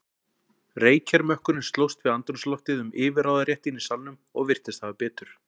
Reykjarmökkurinn slóst við andrúmsloftið um yfirráðaréttinn í salnum og virtist hafa betur.